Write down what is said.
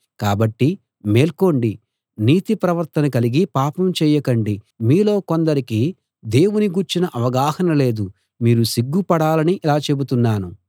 కాబట్టి మేల్కోండి నీతి ప్రవర్తన కలిగి పాపం చేయకండి మీలో కొందరికి దేవుని గూర్చిన అవగాహన లేదు మీరు సిగ్గుపడాలని ఇలా చెబుతున్నాను